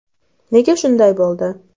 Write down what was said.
Nega shunday bo‘ldi?